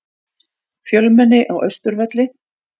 Fjölmenni á Austurvelli